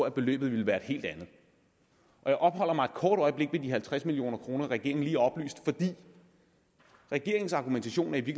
at beløbet ville være et helt andet jeg opholder mig et kort øjeblik ved de halvtreds million kr regeringen lige oplyste fordi regeringens argumentation er i